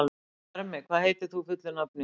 Bjarmi, hvað heitir þú fullu nafni?